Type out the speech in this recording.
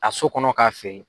A so kɔnɔ k'a fɛ